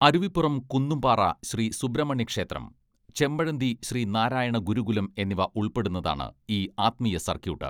അരുവിപ്പുറം കുന്നുംപാറ ശ്രീ സുബ്രഹ്മണ്യ ക്ഷേത്രം ചെമ്പഴന്തി ശ്രീ നാരായണ ഗുരുകുലം എന്നിവ ഉൾപ്പെടുന്നതാണ് ഈ ആത്മീയ സർക്യൂട്ട്.